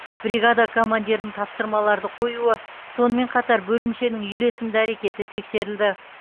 бригада командирінің тапсырмаларды қоюы сонымен қатар бөлімшенің үйлесімді әрекеті тексерілді